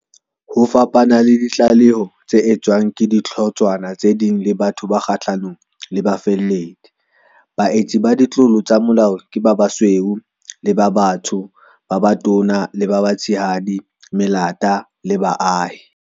Ho fapana le ditlaleho tse etswang ke dihlotshwana tse ding le batho ba kgahlanong le bafalledi, baetsi ba ditlolo tsa molao ke ba basweu le ba batsho, ba batona le ba batshehadi, melata le baahi.